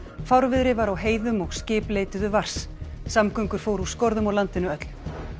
fárviðri var á heiðum og skip leituðu vars samgöngur fóru úr skorðum á landinu öllu